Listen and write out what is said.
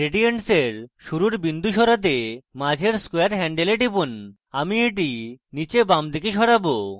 gradients এর শুরুর বিন্দু সরাতে মাঝের square handle এ টিপুন আমি এটি নীচে বাঁদিকে সরাবো